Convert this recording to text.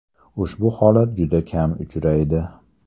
Ushbu holat juda kam uchraydi”.